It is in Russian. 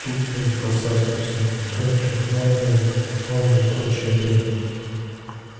оттуда и расползлась по всему метро трёхногая двухголовая и прочая дрянь